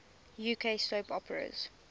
uk soap operas